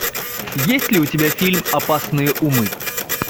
есть ли у тебя фильм опасные умы